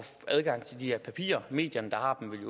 adgang til de her papirer de medier der har dem vil